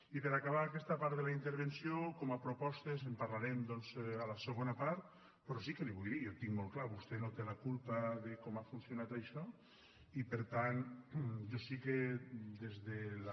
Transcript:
i per acabar aquesta part de la intervenció com a propostes en parlarem doncs a la segona part però sí que li vull dir jo ho tinc molt clar vostè no té la culpa de com ha funcionat això i per tant jo sí que des de la